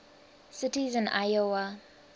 cities in iowa